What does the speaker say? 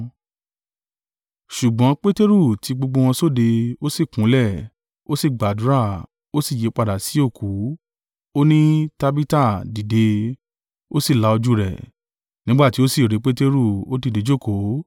Ṣùgbọ́n Peteru ti gbogbo wọn sóde, ó sì kúnlẹ̀, ó sí gbàdúrà; ó sì yípadà sí òkú, ó ní “Tabita, dìde.” Ó sì la ojú rẹ̀, nígbà tí ó sì rí Peteru, ó dìde jókòó.